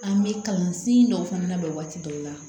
An bɛ kalansen dɔw fana labɛn waati dɔw la